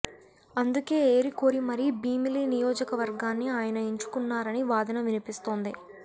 అందుకే ఏరి కోరి మరీ భీమిలి నియోజకవర్గాన్ని ఆయన ఎంచుకున్నారన్న వాదన వినిపిస్తోంది